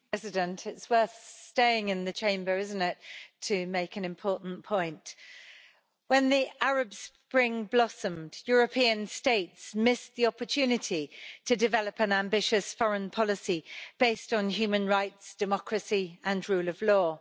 Mr President, it's worth staying in the Chamber to make an important point, isn't it? When the Arab Spring blossomed, European states missed the opportunity to develop an ambitious foreign policy, based on human rights, democracy and the rule of law.